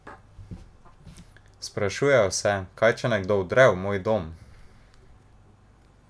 Sprašujejo se, kaj če nekdo vdre v moj dom?